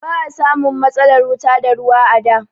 Ba a samun matsalar wuta da ruwa a da.